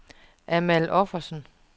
Amal Offersen